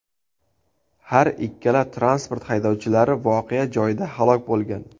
Har ikkala transport haydovchilari voqea joyida halok bo‘lgan.